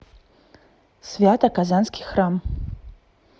свято казанский храм